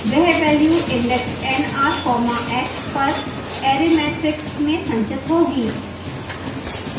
वह value index nr comma x पर array matrix में संचित होगी